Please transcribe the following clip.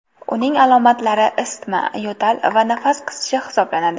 Uning alomatlari isitma, yo‘tal va nafas qisishi hisoblanadi.